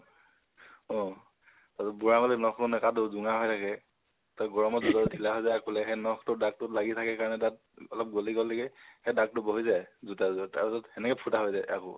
অ, আৰু বুঢ়া আঙুলিৰ নখবোৰ নাকাটো, জোঙা হই থাকে। গৰমত জোতাযোৰ ঢিলা হৈ যায় আগ ফালে সেই নখটোৰ আগটোত লাগি থাকে তাত অলপ গলি গল নেকি। সেই দাগটো বহি যায় জোতা যোৰত। তাৰপিছত হেনেকে ফুতা হৈ যায় আকৌ।